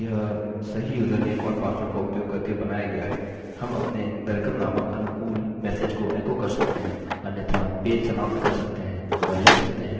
हम मान रहे हैं कि यदि यह सेशन मौजूद है या यदि यह सही यूजरनेम और पासवर्ड का उपयोग करके बनाया गया है हम अपने welcome नामक अनुकूल मेसेज को एको कर सकते हैं अन्यथा पेज समाप्त कर सकते हैं और लिख सकते हैं you must be logged in!